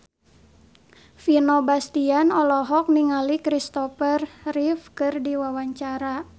Vino Bastian olohok ningali Christopher Reeve keur diwawancara